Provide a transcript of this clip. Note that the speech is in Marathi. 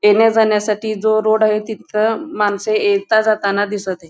येण्या जाण्यासाठी जो रोड आहे तिथं माणस येता जाताना दिसत आहे.